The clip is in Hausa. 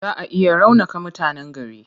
Zaa a iya raunaka mutanen gari.